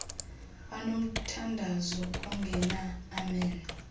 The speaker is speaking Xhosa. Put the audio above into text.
banomthandazo ongena amen